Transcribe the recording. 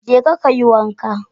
Jeka kayi wanka